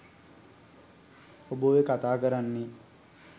ඔබ ඔය කතා කරන්නේ